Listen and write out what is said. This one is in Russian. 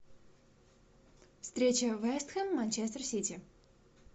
встреча вест хэм манчестер сити